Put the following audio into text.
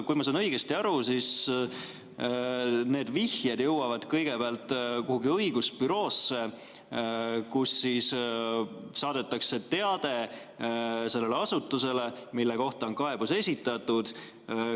Kui ma sain õigesti aru, siis need vihjed jõuavad kõigepealt kuhugi õigusbüroosse, kust siis saadetakse teade sellele asutusele, mille kohta on kaebus esitatud.